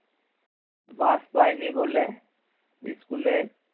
বাস পাইনি বলে school এ